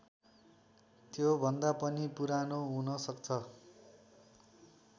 त्योभन्दा पनि पुरानो हुनसक्छ